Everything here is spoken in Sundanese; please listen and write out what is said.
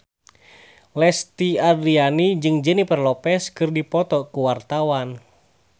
Lesti Andryani jeung Jennifer Lopez keur dipoto ku wartawan